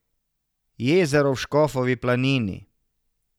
Jezero v Škofovi planini.